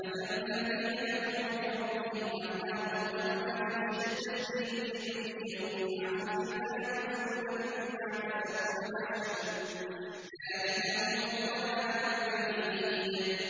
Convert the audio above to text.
مَّثَلُ الَّذِينَ كَفَرُوا بِرَبِّهِمْ ۖ أَعْمَالُهُمْ كَرَمَادٍ اشْتَدَّتْ بِهِ الرِّيحُ فِي يَوْمٍ عَاصِفٍ ۖ لَّا يَقْدِرُونَ مِمَّا كَسَبُوا عَلَىٰ شَيْءٍ ۚ ذَٰلِكَ هُوَ الضَّلَالُ الْبَعِيدُ